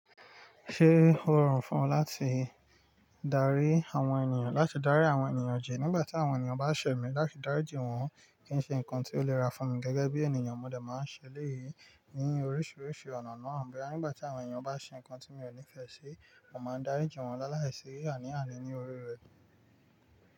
Ṣé ó rọrùn fún ọ láti darí àwọn ènìyàn, láti darí àwọn ènìyàn ji, nígbà tí àwọn ènìyàn bá ṣẹ̀ mí láti dáríji wọ́n kí n ṣe nǹkan tí ó le ra fún mi gẹ́gẹ́ bí ènìyàn? Mo de máa ń ṣe eleyi ní oríṣiríṣi ọ̀nà náà. Nígbà tí àwọn ènìyàn bá ṣe nǹkan tí mi ò nífẹ̀ẹ́ ṣe, mo máa ń dáríji wọ́n lálàísi aní àní ni orí rẹ̀.